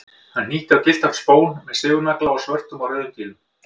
Hann hnýtti á gylltan spón með sigurnagla og svörtum og rauðum dílum.